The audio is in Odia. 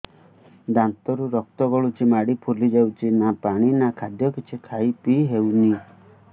ଦାନ୍ତ ରୁ ରକ୍ତ ଗଳୁଛି ମାଢି ଫୁଲି ଯାଉଛି ନା ପାଣି ନା ଖାଦ୍ୟ କିଛି ଖାଇ ପିଇ ହେଉନି